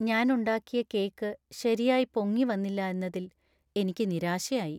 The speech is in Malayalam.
ഞാൻ ഉണ്ടാക്കിയ കേക്ക് ശരിയായി പൊങ്ങിവന്നില്ല എന്നതിൽ എനിക്ക് നിരാശയായി .